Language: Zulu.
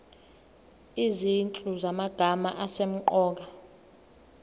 izinhlu zamagama asemqoka